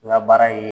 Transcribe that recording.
N ka baara ye